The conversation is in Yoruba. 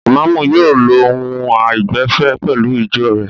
Ìmáámù yóò lo ohùn àìgbẹ̀fẹ̀ pẹ̀lú ìjọ rẹ̀.